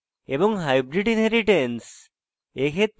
এবং hybrid inheritance